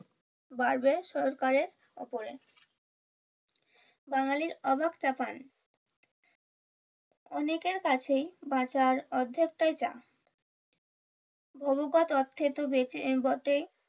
বাড়বে সরকারের উপরে বাঙালির অনেকের কাছেই বাজার অর্ধেক বটেই,